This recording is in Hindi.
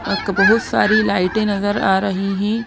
अक बहुत सारी लाइटें नजर आ रही हैं।